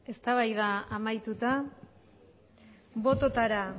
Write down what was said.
eztabaida amaituta botoetara